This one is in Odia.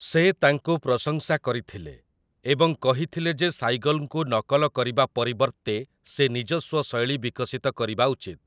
ସେ ତାଙ୍କୁ ପ୍ରଶଂସା କରିଥିଲେ ଏବଂ କହିଥିଲେ ଯେ ସାଇଗଲ୍‌ଙ୍କୁ ନକଲ କରିବା ପରିବର୍ତ୍ତେ ସେ ନିଜସ୍ୱ ଶୈଳୀ ବିକଶିତ କରିବା ଉଚିତ ।